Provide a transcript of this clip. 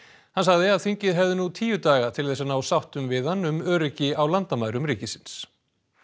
hann sagði að þingið hefði nú tíu daga til þess að ná sáttum við hann um öryggi á landamærum ríkisins